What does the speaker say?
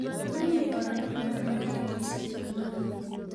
Wali may odhan wax u dambeeya kiiski omondi.